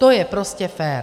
To je prostě fér.